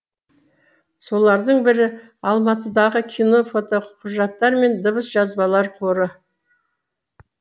солардың бірі алматыдағы кино фотоқұжаттар мен дыбыс жазбалар қоры